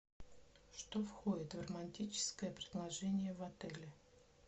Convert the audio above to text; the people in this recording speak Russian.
что входит в романтическое предложение в отеле